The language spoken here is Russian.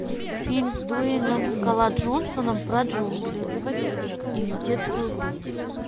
фильм с дуэйном скала джонсоном про джунгли и детскую игру